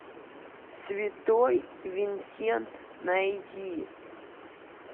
святой винсент найди